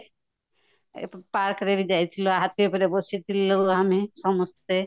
park ରେବି ଯାଇଥିଲୁ ହାତୀ ଉପରେ ବସିଥିଲାଲୁ ଆମେ ସମସ୍ତେ